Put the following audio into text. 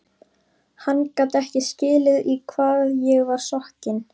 Hann gat ekki skilið í hvað ég var sokkin.